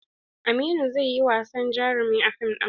Aminu zai yi wasan jarumi a fim ɗin.